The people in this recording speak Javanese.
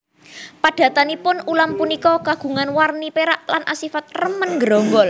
Padatanipun ulam punika kagungan warni pérak lan asifat remen nggerombol